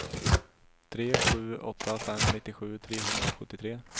tre sju åtta fem nittiosju trehundrasjuttiotre